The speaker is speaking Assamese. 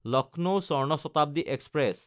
লক্ষ্ণৌ স্বৰ্ণ শতাব্দী এক্সপ্ৰেছ